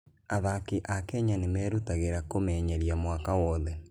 Athaki a Kenya nĩ merutagĩra kũmenyeria mwaka wothe.